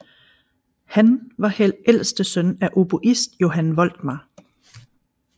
Han var ældste søn af oboist Johan Voltmar